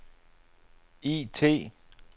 IT